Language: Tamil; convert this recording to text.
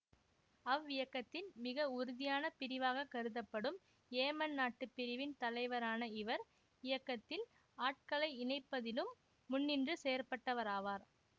அவ்வியக்கத்தின் மிக உறுதியான பிரிவாக கருதப்படும் ஏமன் நாட்டு பிரிவின் தலைவரான இவர் இயக்கத்தில் ஆட்களை இணைப்பதிலும் முன்னின்று செயற்பட்டவராவார்